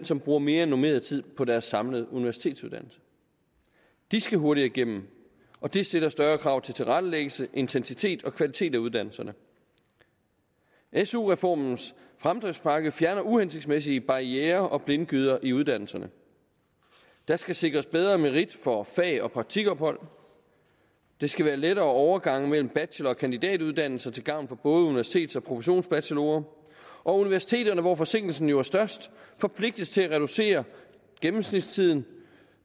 som bruger mere end normeret tid på deres samlede universitetsuddannelse de skal hurtigere igennem og det stiller større krav til tilrettelæggelse intensitet og kvalitet af uddannelserne su reformens fremdriftspakke fjerner uhensigtsmæssige barrierer og blindgyder i uddannelserne der skal sikres bedre merit for fag og praktikophold der skal være lettere overgange mellem bachelor og kandidatuddannelser til gavn for både universitets og professionsbachelorer og universiteterne hvor forsinkelsen jo er størst forpligtes til at reducere gennemsnitstiden